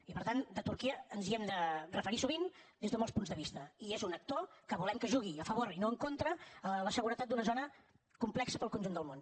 i per tant a turquia ens hi hem de referir sovint des de molts punts de vista i és un actor que volem que jugui a favor i no en contra a la seguretat d’una zona complexa per al conjunt del món